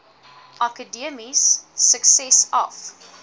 akademiese sukses af